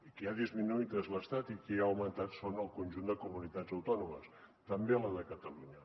qui l’ha disminuït és l’estat i qui l’ha augmentat són el conjunt de comunitats autònomes també la de catalunya